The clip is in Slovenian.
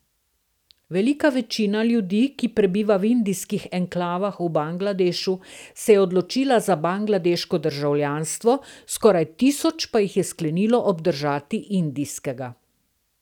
Velika večina ljudi, ki prebiva v indijskih enklavah v Bangladešu, se je odločila za bangladeško državljanstvo, skoraj tisoč pa jih je sklenilo obdržati indijskega.